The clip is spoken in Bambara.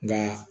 Nka